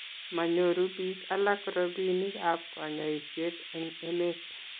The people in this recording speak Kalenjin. manyoru biik alak robinikab kanyoiset eng' emet